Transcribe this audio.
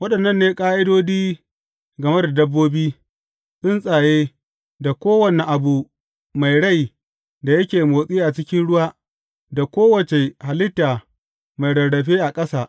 Waɗannan ne ƙa’idodi game da dabbobi, tsuntsaye, da kowane abu mai rai da yake motsi a cikin ruwa, da kowace halitta mai rarrafe a ƙasa.